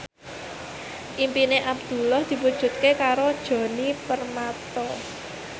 impine Abdullah diwujudke karo Djoni Permato